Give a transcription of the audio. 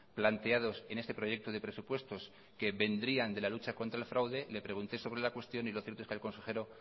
planteados en este proyecto de presupuestos que vendrían de la lucha contra el fraude le pregunté sobre la cuestión y lo cierto es que el consejero